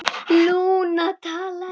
Lúna talaði